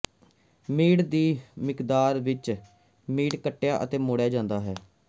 meat ਦੀ ਮਿਕਦਾਰ ਵਿੱਚ ਮੀਟ ਕੱਟਿਆ ਅਤੇ ਮੋੜਿਆ ਹੋਇਆ ਹੈ